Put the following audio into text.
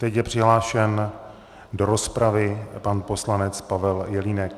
Teď je přihlášen do rozpravy pan poslanec Pavel Jelínek.